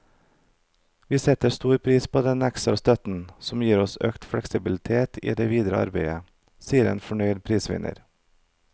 Vi setter stor pris på denne ekstra støtten, som gir oss økt fleksibilitet i det videre arbeidet, sier en fornøyd prisvinner.